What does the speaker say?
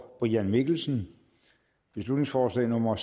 brian mikkelsen beslutningsforslag nummer